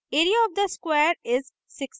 area of the square is 16